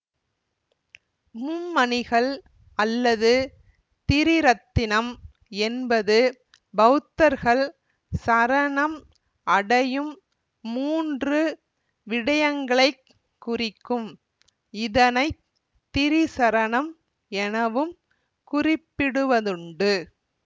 மும்மணிகள் அல்லது திரிரத்தினம் என்பது பௌத்தர்கள் சரணம் அடையும் மூன்று விடயங்களைக் குறிக்கும் இதனை திரிசரணம் எனவும் குறிப்பிடுவதுண்டு